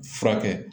Furakɛ